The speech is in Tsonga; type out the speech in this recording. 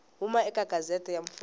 huma eka gazette ya mfumo